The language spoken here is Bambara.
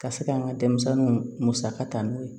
Ka se ka n ka denmisɛnninw musaka ta n'u ye